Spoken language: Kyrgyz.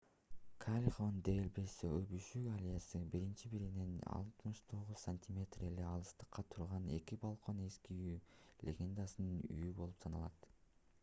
кальехон дель бесо өбүшүү аллеясы. бири-биринен 69 сантиметр эле алыстыкта турган эки балкон эски сүйүү легендасынын үйү болуп саналат